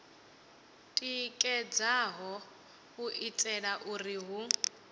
tikedzaho u itela uri hu